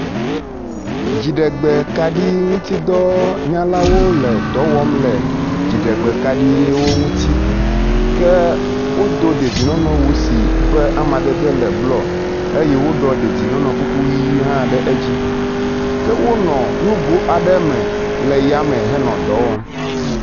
Dziɖegbekaɖiŋutidɔnyalawo le dɔ wɔm le dziɖegbekaɖiwo ŋuti ke wodo dzedienɔnɔ si ƒe amadede le blɔ eye woɖɔ dedienɔnɔ kuku ʋi yi hã ɖe edzi. Ke wonɔ nugo me le yame nɔ dɔ wɔm.